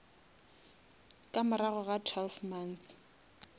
ka morago ga twelve months